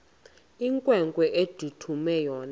inkwenkwe endithume yona